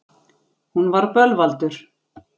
Hún var bölvaldur.